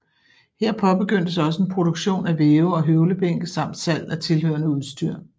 Her påbegyndtes også en produktion af væve og høvlebænke samt salg af tilhørende udstyr